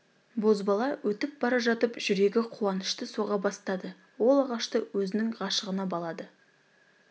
бозбала өтіп бара жатып жүрегі қуанышты соға бастады ол ағашты өзінің ғашығына балады